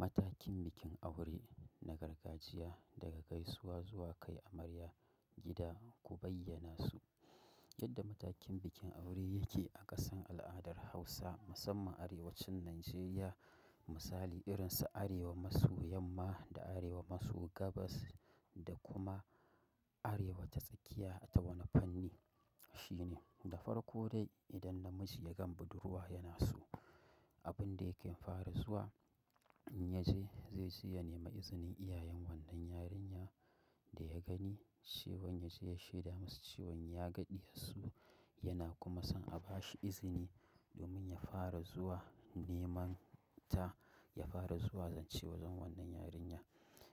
Matakin bikin aure na gargajiya daga gaisuwa zuwa kai amarya gida, ku bayyanasu. Yadda matakin bikin aure yake a ƙasar al'adan Hausa musamman arewacin Najeriya. Misali irin su Arewa maso yamma da Arewa maso gabas da kuma Arewa ta tsakiya ta wani fanni. Shi ne, da farko dai idan namiji ya gan budurwa yana so, abin da yake fara zuwa in ya je zai je ya nema izinin iyayen wannan yarinya da ya gani cewan ya je ya shaida masu cewan ya ga ɗiyarsu yana kuma son a bashi izini domin ya fara zuwa neman ta, ya fara zuwa zance wajen wannan yarinya.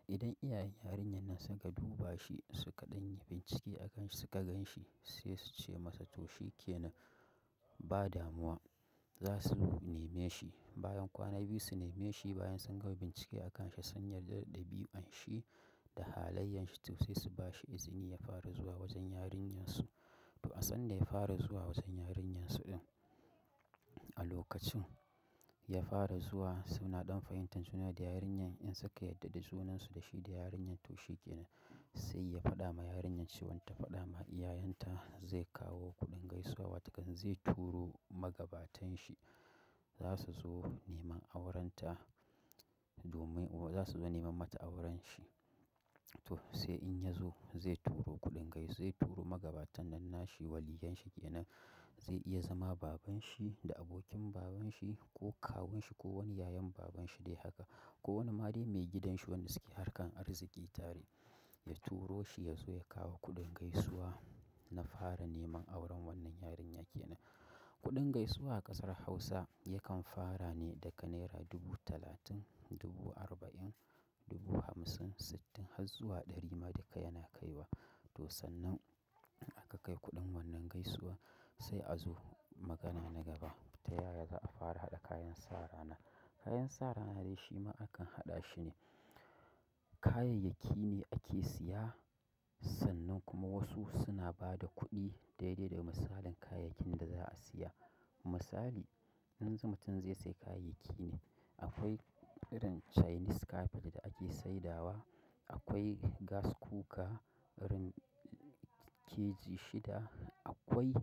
Idan iyayen yarinyan nan suka duba shi, suka ɗan yi bincike a kan shi suka gan shi sai su ce masa to shike na ba damuwa, za su neme shi. Bayan kwana biyu su neme shi bayan sun gama bincike a kan shi, sun yarda da dabiyu'an shi da halayyan shi to sai su bashi izini ya fara zuwa wajen yarinyar su. To a sannan ya fara zuwa wazan yarinyar su ɗin. A lokacin ya fara zuwa suna ɗan fahimtan juna da yarinyar in suka yadda da junan su da shi da yarinyar to shike na sai ya faɗa ma yarinyar cewan ta faɗa ma iyayen ta zai kawo kuɗin gaisuwa wataƙan zai turo magabatan shi za su zo neman auren ta domin o za su zo neman mata auren shi. To sai in ya zo zai turo kuɗin gais--, zai turo magabatan nan nashi waliyan shi kenan zai iya zama baban shi da abokin baban shi ko kawun shi ko wani yayan baban shi dai haka ko wani malami mai gidan shi wanda suke harkan arziki tare, ya turo shi ya zo ya kawo kuɗin gaisuwa na fara neman auren wannan yarinya ke nan. Kuɗin gaisuwa a ƙasar Hausa yakan fara ne daga naira dubu talatin, dubu arba'in, dubu hamsin, sittin har zuwa ɗari ma duka yana kai wa. To sannan in aka kai kuɗin wannan gaisuwa sai a zo magana na gaba ta yaya za'a fara haɗa kayan sa rana. Kayan sa rana dai shi ma akan haɗa shi ne kayayyaki ne ake siya sannan kuma wasu suna ba da kuɗi daidai da misalin kayayyakin da za'a siya. Misali, in zu--- mutum zai sai kayayyaki ne, akwai irin chinese carpet da ake saidawa, akwai gas cooker, irin keji shida, akwai,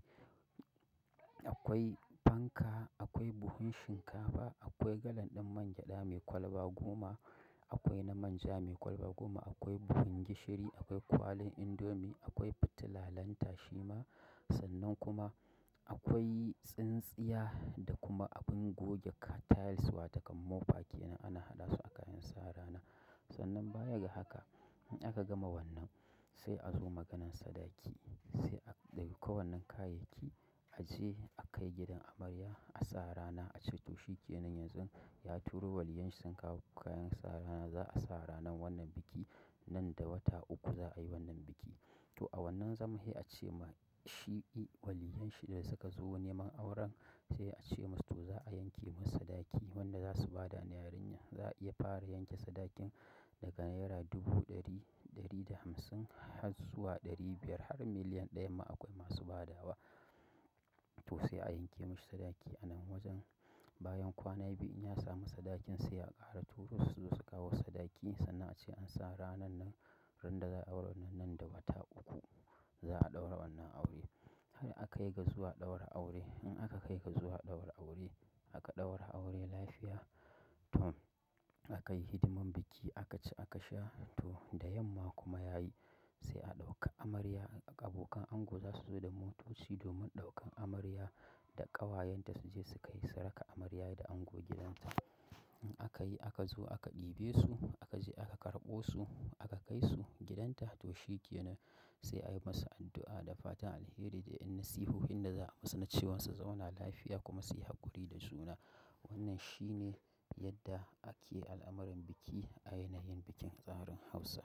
akwai fanka, akwai buhun shinkafa, akwai galan ɗin mangyeda mai kwalba goma, akwai na manja mai kwalba goma, akwai buhun gishiri, akwai kwalin indomie, akwai fitila lantashi ma sannan kuma akwai tsintsiya da kuma abun goge ka-- tiles wato ƙaman mopa kenan ana haɗa su a kayan sa rana. Sannan baya ga haka in aka gama wannan sai a zo maganan sadaki. Sai a ɗauka wannen kayayyaki a je a kai gidan amarya a sa rana a ce to shike nan yanzu ya turo waliyan shi sun kawo kayan sa rana za'a sa ranan wannan biki. Nan da wata uku za'a yi wannan biki. To a wannan zaman he a ce ma shi waliyan shi da suka zo neman auren sai a ce masu to za'a yanke masa sadaki wanda za su ba da na yarinya. Za'a iya fara yanke sadakin daga naira dubu ɗari, ɗari da hamsin har zuwa ɗari biyar har miliyan ɗaya ma akwai masu badawa. To sai a yanke mashi sadaki a nan wajen bayan kwana biyu in ya samu sadakin sai a ƙara turo su suzo su kawo sadaki sannan a ce an sa ranan nan ran da za'a auranan nan da wata uku za'a ɗaura wannan aure. Sai aka kai ga zuwa ɗaura aure. In aka kai ga zuwa ɗaura aure, aka ɗaura aure lafiya, to aka yi hidimar biki aka ci aka sha to da yamma kuma yayi sai a ɗauka amarya. Abokan ango za su zo da motoci domin ɗaukan amarya da ƙawayen ta su je su kai su raka amarya da ango gidanta. In aka yi aka zo aka ɗibe su, aka je aka karɓo su, aka kai su gidanta to shi kenan sai a yi masa addu'a da fatan alheri da yan nasihuhin da za'a masa na cewan sa zauna lafiya kuma su yi haƙuri da juna. Wannan shi ne yadda ake al'amuran biki a yanayin bikin tsarin Hausa.